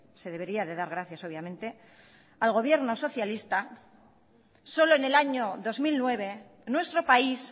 se debería de dar gracias obviamente al gobierno socialista solo en el año dos mil nueve nuestro país